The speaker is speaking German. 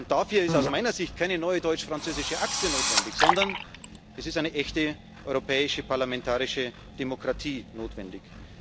Dafür ist aus meiner Sicht keine neue deutsch französische Achse notwendig, sondern es ist eine echte europäische parlamentarische Demokratie notwendig.